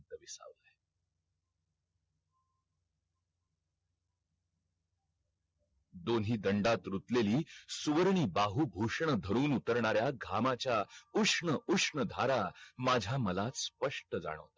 दोन्ही दंडात रुतलेली सुवर्णी बाहू भूषण धरून उतरणाऱ्या घामाच्या उष्ण उष्ण धारा माझा मला स्पष्ट जाणवतंय